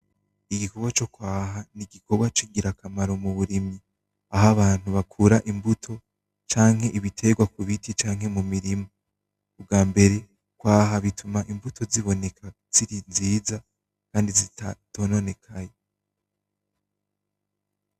Igikorwa cokwaha nigikorwa cingirakamaro muburimyi, aho abantu bakura imbuto canke ibiterwa mubiti canke mumirima. Ubwambere kwaha bituma imbuto ziboneka ziri nziza kandi zitononekaye.